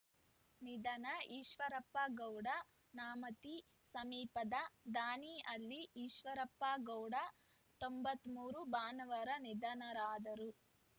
ನಿಧನ ಈಶ್ವರಪ್ಪ ಗೌಡ ನ್ಯಾಮತಿ ಸಮೀಪದ ದಾನಿಹಳ್ಳಿ ಈಶ್ವರಪ್ಪಗೌಡ ತೊಂಬತ್ತ್ ಮೂರು ಭಾನುವಾರ ನಿಧನರಾದರು